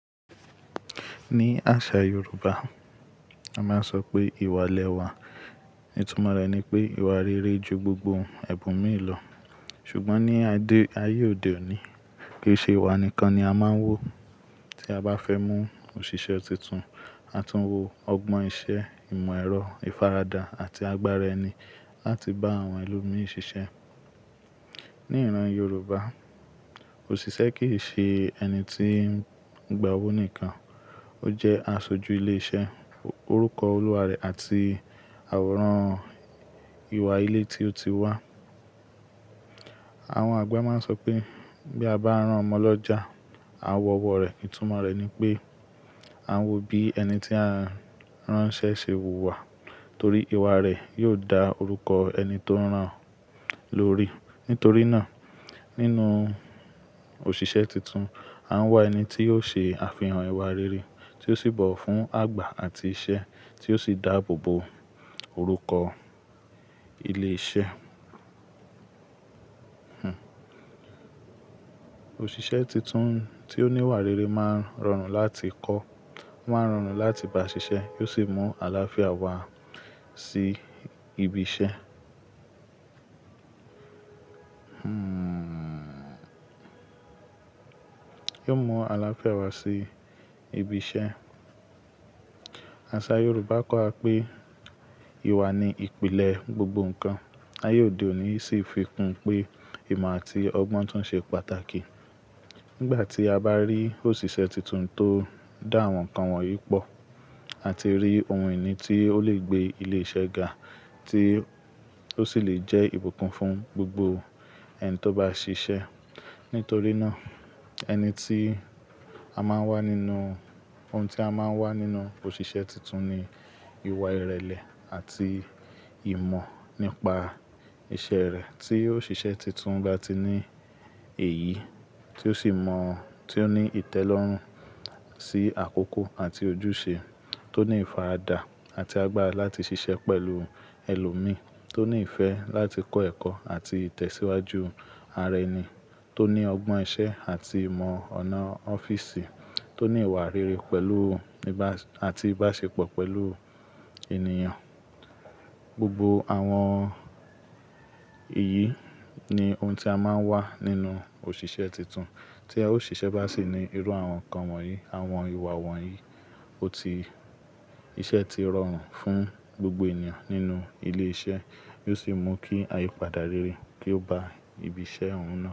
Ní àṣà Yoruba, a máa ń sọ pé ìwà lẹ wà. Ìtumọ̀ rẹ̀ ni pé ìwà rere ju gbogbo ẹ̀bùn míì lọ. Ṣùgbọ́n ní ayé òde òní, kì í ṣe ìwà nìkan ni a máa ń wò tí a bá fẹ́ mú òṣìṣẹ́ tuntun. A tún wò ọgbọ́n ìṣe, ìmọ̀ ẹ̀rọ, ìfaradà àti agbára ẹni láti bá àwọn ẹlòmíràn ṣiṣẹ́. Ní ìran Yoruba, òṣìṣẹ́ kì í ṣe ẹni tí ń gba owó nìkan, ó jẹ́ aṣojú ilé iṣẹ́, orúkọ olúwa rẹ̀ àti àwòrán ìwà ilé tí ó ti wá. Àwọn àgbà máa ń sọ pé bí a bá rán ọmọ lọ já, a wọ ọwọ́ rẹ̀. Ìtumọ̀ rẹ̀ ni pé a ń wò bí ẹni tí a rán ṣẹ́ ṣe wùwà torí ìwà rẹ̀ yóò dá orúkọ ẹni tó rán lórí. Nítorí náà nínú òṣìṣẹ́ tuntun, a ń wà ẹni tí yóò ṣe àfihàn ìwà rere tí ó sì bọ̀wọ̀ fún àgbà àti iṣẹ́ tí ó sì dáàbò bo orúkọ ilé iṣẹ́. Òṣìṣẹ́ tuntun tí ó ní ìwà rere máa ń rọrùn láti kọ́, wọ́n á rọrùn láti bá ṣiṣẹ́, yóò sì mú àlàáfíà wá sí ibi iṣẹ́. Yóò mú àlàáfíà wà sí ibi iṣẹ́. Àṣà Yoruba kọ́ wa pé ìwà ni ìpìlẹ̀ gbogbo nǹkan. Ayé òde òní sì fi kún un pé ìmọ̀ àti ọgbọ́n tún ṣe pàtàkì. Nígbà tí a bá rí òṣìṣẹ́ tuntun tó dá àwọn nǹkan wọ̀nyí pọ̀, àti rí ohun ìní tí ó lè gbé ilé iṣẹ́ ga, tí ó sì lè jẹ́ ìbùkún fún gbogbo ẹni tó bá ṣiṣẹ́. Nítorí náà ẹni tí a máa ń wá nínú-- ohun tí a máa ń wá nínú òṣìṣẹ́ tuntun ni ìwà ìrẹ̀lẹ̀ àti ìmọ̀ nípa iṣẹ́ rẹ̀. Tí òṣìṣẹ́ tuntun bá ti ní èyí, tí ó sì mọ̀, tí ó ní ìtẹ́lọ́rùn sí àkókò àti ojúṣe, tó ní ìfaradà àti agbára láti ṣiṣẹ́ pẹ̀lú ẹlòmíràn, tó ní ìfẹ́ láti kọ́ ẹ̀kọ́ àti tẹ̀síwájú ara ẹni, tó ní ọgbọ́n ìṣe àti ìmọ̀ ọ̀nà ọ́fíìsì, tó ní ìwà rere pẹ̀lú níba-- àti ìbáṣepọ̀ pẹ̀lú ènìyàn. Gbogbo àwọn èyí ni ohun tí a máa ń wá nínú òṣìṣẹ́ tuntun. Tí àwọn òṣìṣẹ́ bá sì ní irú àwọn nǹkan wọ̀nyí, àwọn ìwà wọ̀nyí, ó ti-- iṣẹ́ ti rọrùn fún gbogbo ènìyàn nínú ilé iṣẹ́, yóò sì mú kí ayípadà rere kí ó bá ibi iṣẹ́ òun náà.